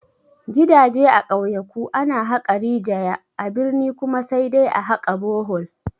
Gidaje a ƙauyaku ana haƙa rijaya, a birni kuma sai dai a haƙa bohol